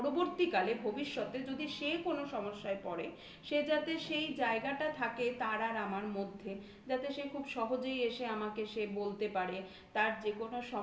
যাতে পরবর্তীকালে ভবিষ্যতে যদি সে কোন সমস্যায় পড়ে সে যাতে সেই জায়গাটা থাকে তার আর আমার মধ্যে যাতে সে খুব সহজেই এসে আমাকে সে বলতে পারে. তার যে